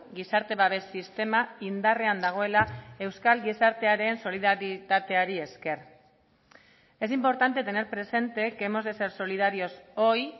gizarte babes sistema indarrean dagoela euskal gizartearen solidaritateari esker es importante tener presente que hemos de ser solidarios hoy